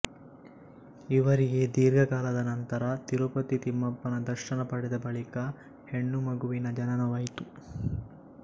ಇವರಿಗೆ ದೀರ್ಘ ಕಾಲದ ನಂತರ ತಿರುಪತಿ ತಿಮ್ಮಪ್ಪನ ದರ್ಶನ ಪಡೆದ ಬಳಿಕ ಹೆಣ್ಣು ಮಗುವಿನ ಜನನವಾಯಿತು